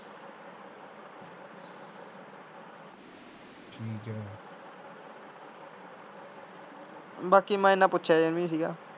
ਬਾਕੀ ਮੈਂ ਇੰਨਾ ਪੁੱਛਿਆ ਜਾ ਨੀ ਸੀ ਗਾ।